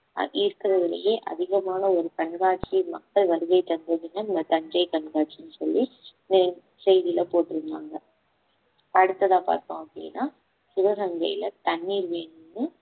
அது இருக்கறதுலையே அதிகமான ஒரு கண்காட்சியை மக்கள் வருகைதந்ததுன்னா இந்த தஞ்சை கண்காட்சின்னு சொல்லி அஹ் செய்தியில போட்டிருந்தாங்க அடுத்ததா பார்த்தோம் அப்பிடின்னா சிவகங்கையில தண்ணீர் வேணும்ன்னு